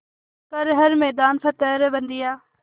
कर हर मैदान फ़तेह रे बंदेया